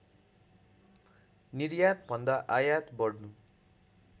निर्यातभन्दा आयात बढ्नु